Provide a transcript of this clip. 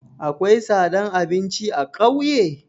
Akwai tsadan abinci a ƙauye?